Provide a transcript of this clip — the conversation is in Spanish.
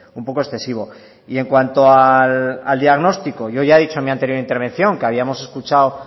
un poco excesivo y en cuanto al diagnóstico yo ya he dicho en mi anterior intervención que habíamos escuchado